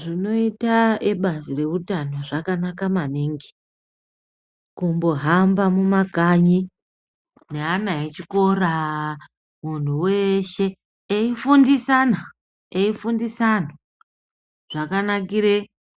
Zvinoita ebazi reutano zvakanaka maningi. Kumbohamba mumakanyi neana echikora, munhu weshe eifundisana eifundisa anhu zvakanakire